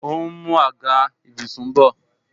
Ó ń mú àga ìbùsùn bọ